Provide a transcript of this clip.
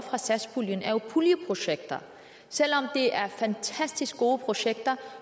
satspuljen er puljeprojekter selv om det er fantastisk gode projekter